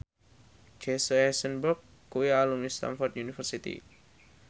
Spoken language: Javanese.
Jesse Eisenberg kuwi alumni Stamford University